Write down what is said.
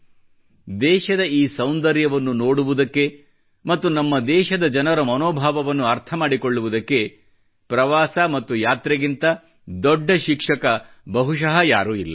ನಮ್ಮ ದೇಶದ ಈ ಸೌಂದರ್ಯವನ್ನು ನೋಡುವುದಕ್ಕೆ ಮತ್ತು ನಮ್ಮ ದೇಶದ ಜನರ ಮನೋಭಾವವನ್ನು ಅರ್ಥ ಮಾಡಿಕೊಳ್ಳುವುದಕ್ಕೆ ಪ್ರವಾಸ ಮತ್ತು ಯಾತ್ರೆಗಿಂತ ದೊಡ್ಡ ಶಿಕ್ಷಕ ಬಹುಶಃ ಯಾರೂ ಇಲ್ಲ